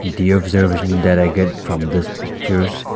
the observation that i get from this pictures--